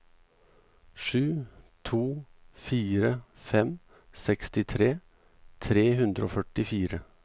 sju to fire fem sekstitre tre hundre og førtifire